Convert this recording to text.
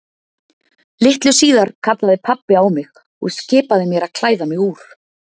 Litlu síðar kallaði pabbi á mig og skipaði mér að klæða mig úr.